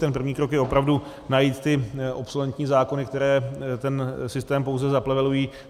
Ten první krok je opravdu najít ty obsolentní zákony, které ten systém pouze zaplevelují.